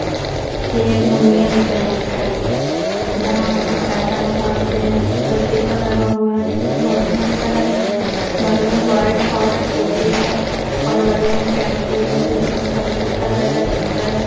ऐ union bank है। जहाँ हम लोग पैसा निकलते है ऊपर शिसा लगा हुआ है देखने में बहोत ही अच्छा लग रहा है। बगल में बाइक और स्कूटी है और बगल में कैफे है जो देखने में बहोत अच्छा लग रहा है और सुन्दर है।